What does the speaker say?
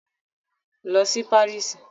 Lọ sí Paris!